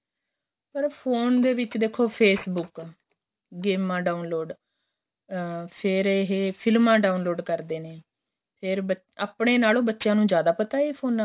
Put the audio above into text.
ਫ਼ਿਰ ਫੋਨ ਦੇ ਵਿੱਚ ਦੇਖੋ Facebook ਗੇਮਾਂ download ਫ਼ੇਰ ਏਹ ਫ਼ਿਲਮਾਂ download ਕਰਦੇ ਨੇ ਫ਼ੇਰ ਆਪਣੇ ਨਾਲੋ ਬੱਚਿਆ ਨੂੰ ਜਿਆਦਾ ਪਤਾ ਫ਼ੋਨਾ ਬਾਰੇ